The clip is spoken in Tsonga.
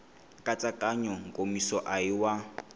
nkatsakanyo nkomiso a hi wa